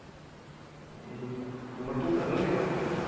तू कर ना तिला phone